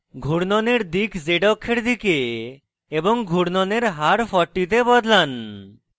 ঘুর্ণনের দিক z অক্ষের দিকে এবং ঘুর্ণনের হার 40 তে বদলান